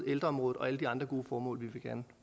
ældreområdet og alle de andre gode formål vi gerne